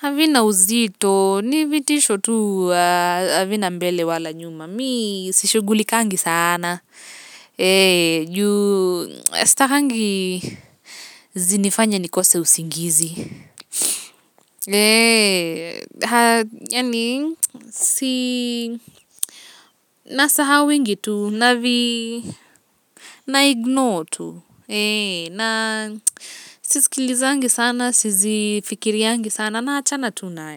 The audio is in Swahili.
havina uzito. Ni vitisho tu, havina mbele wala nyuma. Mi, si shughulikangi sana. Juu sitakangi zinifanye nikose usingizi. Yani, si na sahauwingi tu, navi na ignore tu. Na sisikilizangi sana sizifikiriangi sana na achana tu nayo.